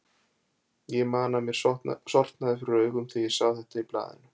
Ég man að mér sortnaði fyrir augum þegar ég sá þetta í blaðinu.